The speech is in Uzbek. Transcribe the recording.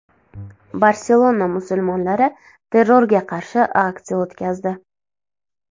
Barselona musulmonlari terrorga qarshi aksiya o‘tkazdi.